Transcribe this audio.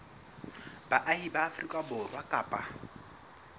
baahi ba afrika borwa kapa